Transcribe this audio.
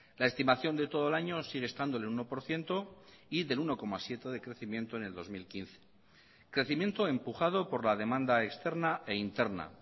la estimación de todo el año sigue estando en el uno por ciento y del uno coma siete de crecimiento en el dos mil quince crecimiento empujado por la demanda externa e interna